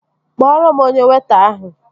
Kpọrọ m onye weịta ahụ!